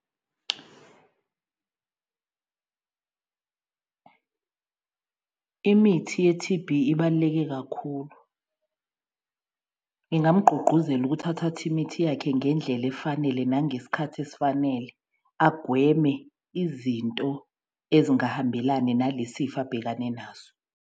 Imithi ye-T_B ibaluleke kakhulu. Ngingamgqugquzela ukuthi athathe imithi yakhe ngendlela efanele nangesikhathi esifanele agweme izinto ezingahambelani nale sifo abhekane naso.